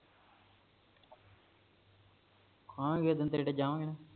ਖਾਣ ਗੇ ਤੇ ਢਿੱਡ ਜਾਵਾਂਗੇ